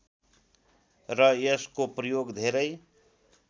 र यसको प्रयोग धेरै